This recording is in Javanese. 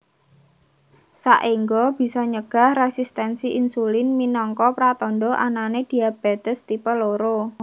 Saengga bisa nyegah resistensi insulin minangka pratandha anane diabetes tipe loro